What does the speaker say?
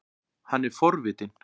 Hann er forvitinn.